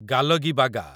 ଗାଲଗିବାଗା